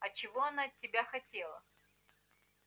а чего она от тебя хотела